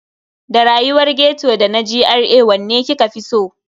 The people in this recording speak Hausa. Da rayuwar ghetto da na GRA wanne kika fi so?